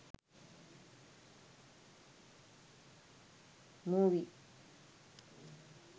movie